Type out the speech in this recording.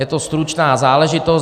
Je to stručná záležitost.